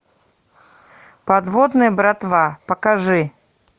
подводная братва покажи